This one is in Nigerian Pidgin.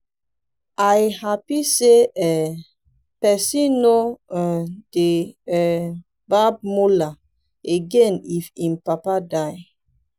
i happy say um person no um dey um barb mola again if im papa die